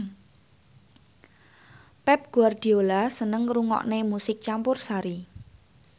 Pep Guardiola seneng ngrungokne musik campursari